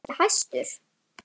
Varst þú kannski hæstur?